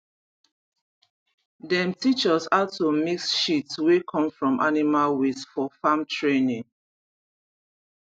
dem teach us how to mix shit wey come from animal waste for farm training